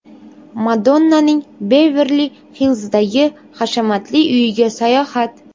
Madonnaning Beverli-Hillzdagi hashamatli uyiga sayohat .